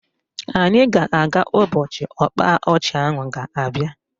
Anyị ga-aga ụbọchị ọkpa ọchị ahụ ga-abịa